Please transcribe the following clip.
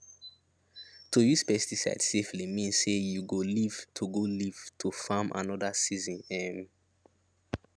to use pesticide safely mean say you go live to go live to farm another season um